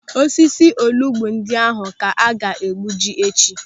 Osisi olugbu ndị ahụ ka a ga-egbuji echi.